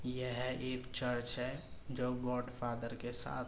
यह एक चर्च है जो गॉड फादर के साथ --